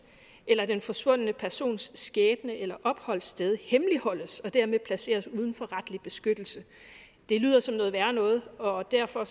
eller den forsvundne persons skæbne eller opholdssted hemmeligholdes og dermed placeres uden for retlig beskyttelse det lyder som noget værre noget og derfor